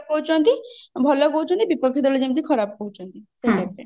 କହୁଛନ୍ତି ଭଲ କହୁଛନ୍ତି ବିପକ୍ଷ ଦଳ ଯେମତି ଖରାପ କହୁଛନ୍ତି